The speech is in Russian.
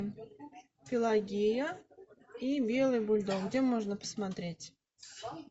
пелагея и белый бульдог где можно посмотреть